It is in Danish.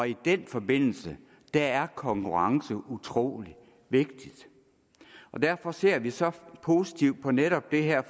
i den forbindelse er konkurrence utrolig vigtigt derfor ser vi så positivt på netop det her